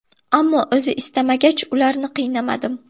Ammo o‘zi istamagach, ularni qiynamadim.